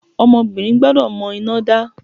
Ọmọbìnrin gbọ́dọ̀ mọ iná dá.